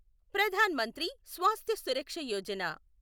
Pradhan Mantri Swasthya Suraksha Yojana